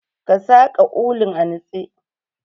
Ka saƙa ulun a nutse.